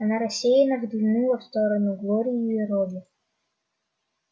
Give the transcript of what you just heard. она рассеянно взглянула в сторону глории и робби